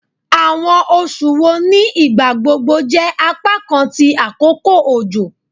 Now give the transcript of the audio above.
Awọn oṣu wo ni igbagbogbo jẹ apakan ti akoko ojo?